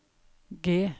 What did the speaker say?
G